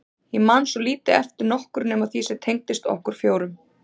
Ég man svo lítið eftir nokkru nema því sem tengdist okkur fjórum.